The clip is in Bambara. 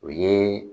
O ye